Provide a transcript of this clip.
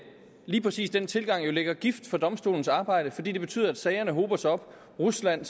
lige præcis den tilgang jo lægger gift for domstolens arbejde for det betyder at sagerne hober sig op rusland